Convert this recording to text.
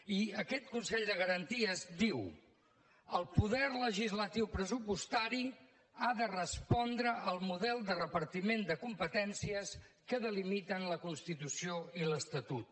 i aquest consell de garanties diu el poder legislatiu pressupostari ha de respondre al model de repartiment de competències que delimiten la constitució i l’estatut